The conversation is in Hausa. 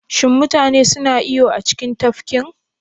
Shin mutane suna iyo a cikin tafkin?